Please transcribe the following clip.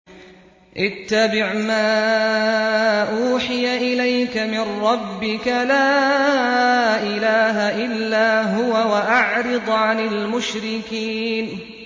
اتَّبِعْ مَا أُوحِيَ إِلَيْكَ مِن رَّبِّكَ ۖ لَا إِلَٰهَ إِلَّا هُوَ ۖ وَأَعْرِضْ عَنِ الْمُشْرِكِينَ